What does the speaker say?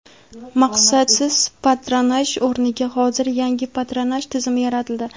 maqsadsiz patronaj o‘rniga hozir yangi patronaj tizimi yaratildi.